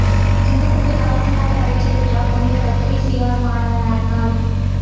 சிங்கப்பூரில் கால்பந்தாட்டப் பயிற்சி பெற்றார் புனித பத்திரிசியார் மாணவன் ஆர்னல்ட்